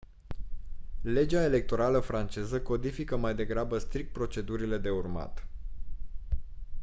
legea electorală franceză codifică mai degrabă strict procedurile de urmat